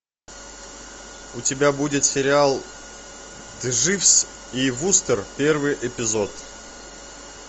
у тебя будет сериал дживс и вустер первый эпизод